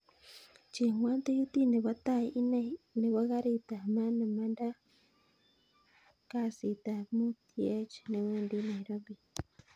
Chengwon tikitit nepo tai inei nepo karit ap maat nemandaa kasitap mut yeech newendi nairobi